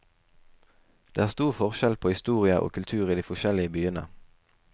Det er stor forskjell på historie og kultur i de forskjellige byene.